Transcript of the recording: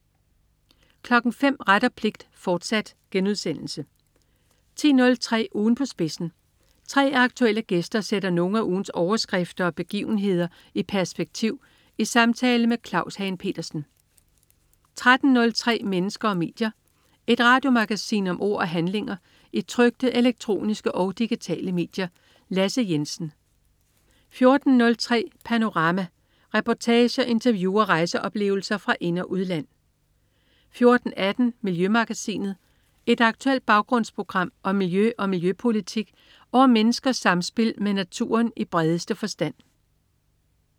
05.00 Ret og pligt, fortsat* 10.03 Ugen på spidsen. 3 aktuelle gæster sætter nogle af ugens overskrifter og begivenhederi perspektiv i samtale med Claus Hagen Petersen 13.03 Mennesker og medier. Et radiomagasin om ord og handlinger i trykte, elektroniske og digitale medier. Lasse Jensen 14.03 Panorama. Reportager, interview og rejseoplevelser fra ind- og udland 14.18 Miljømagasinet. Et aktuelt baggrundsprogram om miljø og miljøpolitik og om menneskers samspil med naturen i bredeste forstand